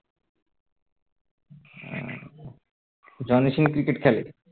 উহ Johnny Sins cricket খেলে?